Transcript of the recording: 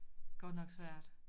Godt nok svært